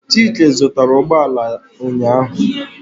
Chika zụtara ụgbọala ụnyaahụ.